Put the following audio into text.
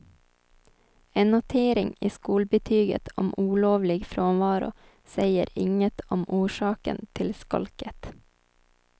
En notering i skolbetyget om olovlig frånvaro säger inget om orsaken till skolket.